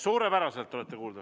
Suurepäraselt olete kuuldav.